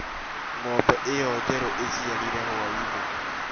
Ng'ombe ĩyo njerũ iciarire hwaĩinĩ